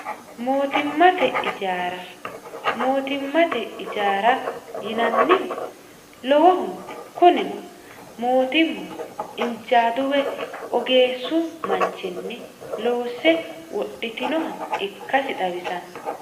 mootimmate ijaara mootimmate ijaara yinannihu lowohuno kunino mootimma injaadu woy ogeessu manchinni loosse wodhitinoha ikkasi xawisanno